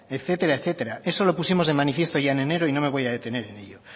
etcétera etcétera eso lo pusimos de manifiesto ya en enero y no me voy a detener en ello